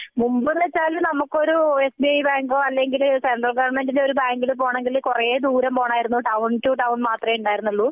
മുൻപ് എന്ന് വച്ചാൽ നമ്മക്കൊരു എസ് ബി ഐ ബാങ്കോ അല്ലെങ്കിൽ സെൻട്രൽ ഗോവെര്ന്മേന്റിന്റെ ഒരു ബാങ്കിൽ പോകണമെങ്കിൽ കുറെ ദൂരം പോകണമായിരുന്നു ടൌൺ ട്ടോ ടൌൺ മാത്രമേ ഉണ്ടായിരുന്നുള്ളൂ